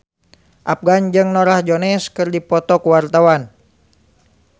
Afgan jeung Norah Jones keur dipoto ku wartawan